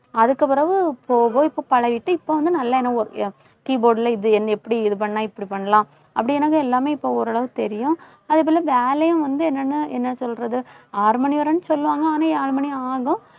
அதுக்குப் பிறகு இப்போ போய் இப்ப பழகிட்டு இப்ப வந்து நல்லா என்ன keyboard ல இது எப்படி இது பண்ணா இப்படி பண்ணலாம்? அப்படி என்னங்க எல்லாமே இப்ப ஓரளவுக்கு தெரியும். அதே போல வேலையும் வந்து என்னன்னா என்ன சொல்றது ஆறு மணி வரைன்னு சொல்லுவாங்க. ஆனா ஆறு மணி ஆகும்.